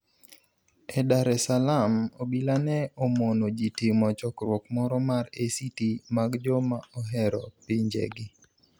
E Dar es Salaam, obilae ni e omono ji timo chokruok moro mar ACT mag joma ohero pinijegi